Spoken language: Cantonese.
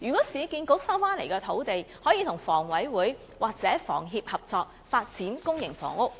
市建局收回土地後，可否與房委會或香港房屋協會合作，發展公營房屋？